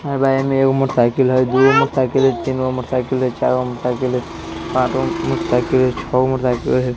अ एमे एगो मोटरसाइकिल हई दू गो मोटरसाइकिल हई तीन मोटरसाइकिल हई चार गो मोटरसाइकिल हई पॉँच गो मोटरसाइकिल हई छौ गो मोटरसाइकिल हई |